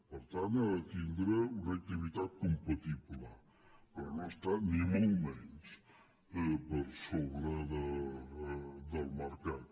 per tant ha de tindre una activitat compatible però no està ni molt menys per sobre del mercat